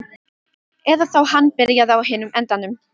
Eða þá hann byrjaði á hinum endanum.